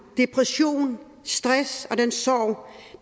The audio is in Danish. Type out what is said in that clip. depression stress og den sorg